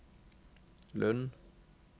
Lund